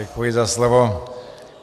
Děkuji za slovo.